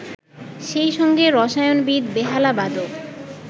সেই সঙ্গে রসায়নবিদ, বেহালাবাদক